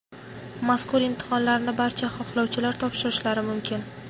mazkur imtihonlarni barcha xohlovchilar topshirishlari mumkin.